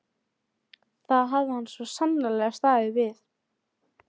Fyrrnefndir hitamælar eru háðir ýmsum skekkjuvöldum.